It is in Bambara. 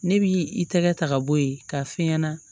Ne b'i i tɛgɛ ta ka bɔ yen ka f'i ɲɛna